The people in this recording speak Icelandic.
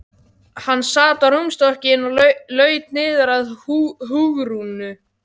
Hann sat á rúmstokkinn og laut niður að Hugrúnu.